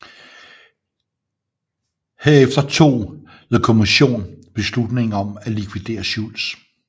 Herefter tog The Commission beslutning om at likvidere Schultz